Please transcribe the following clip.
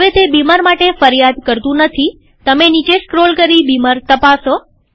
હવે તે બીમર માટે ફરિયાદ કરતુ નથીતમે નીચે સ્ક્રોલ કરી બીમર તપાસો